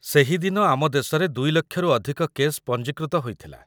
ସେହି ଦିନ ଆମ ଦେଶରେ ଦୁଇ ଲକ୍ଷରୁ ଅଧିକ କେସ୍ ପଞ୍ଜୀକୃତ ହୋଇଥିଲା